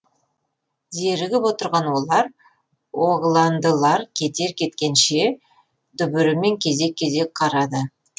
зерігіп отырған олар оғландылар кетер кеткенше дүбірімен кезек кезек қарады